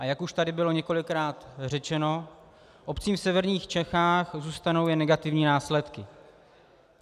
A jak už tady bylo několikrát řečeno, obcím v severních Čechách zůstanou jen negativní následky.